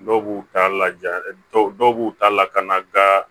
Dɔw b'u ta laja dɔw b'u ta lakana gan